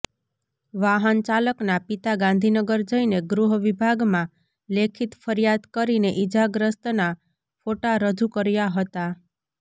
વાહન ચાલકના પિતા ગાંધીનગર જઈને ગૃહવિભાગમાં લેખિત ફરિયાદ કરીને ઈજાગ્રસ્તના ફોટા રજૂ કર્યા હતા